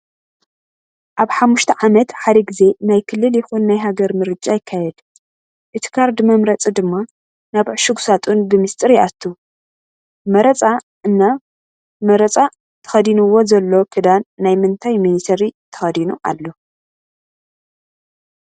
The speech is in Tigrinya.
ኣብ ሓሙሽተ ዓመት ሓደ ግዜ ናይ ክልል ይኩን ናይ ሃገር ምርጫ ይካየድ። እቲ ካርድ መምረፂ ድማ ናብ ዕሹግ ሳጡን ብሚስጥ ይኣትው ። መረፃ እና መረፃ ደከዲንዎ ዘሎ ክዳን ናይ ምንታይ ሚኒተሪ ተከዲኑ አሎ?